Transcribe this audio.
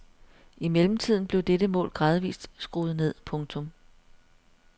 I mellemtiden blev dette mål gradvist skruet ned. punktum